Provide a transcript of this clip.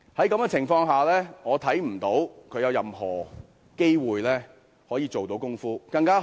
在這情況下，我看不到她有任何機會可以做到甚麼。